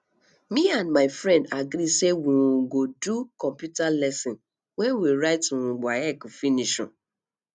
me and my friend agree sey we um go do computer lesson wen we write um waec finish um